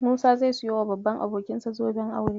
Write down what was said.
Musa zai siyowa babban abokinsa zoben aure.